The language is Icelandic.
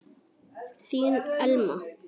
Þín Elma.